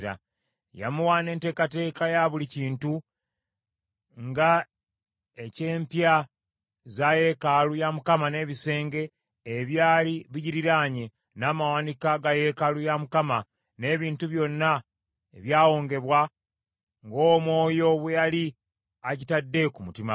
Yamuwa n’enteekateeka ya buli kintu nga eky’empya za yeekaalu ya Mukama , n’ebisenge, ebyali bigiriranye, n’amawanika ga yeekaalu ya Mukama , n’ebintu byonna ebyawongebwa, ng’Omwoyo bwe yali agitadde ku mutima gwe.